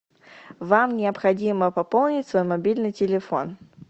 вам необходимо пополнить свой мобильный телефон